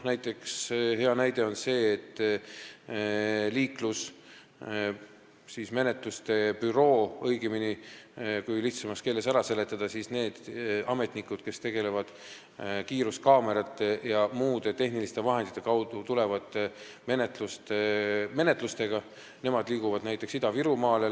Hea näide on see, et liiklusmenetluste büroo või kui lihtsamas keeles ära seletada, siis need ametnikud, kes tegelevad kiiruskaamerate ja muude tehniliste vahendite kaudu alguse saanud menetlustega, liiguvad lähiaastate jooksul näiteks Ida-Virumaale.